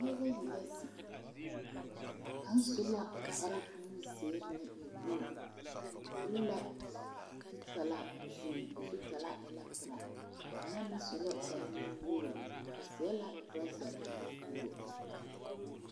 Pɔgeba ayi la zeŋ a kaŋ su la kpar nu zeere naŋ e woo o piri la zutalaa o zuriŋ a zutalaa a e la pelaa ŋa mine su la kpar nuwoore o seɛ la toraza nuwoo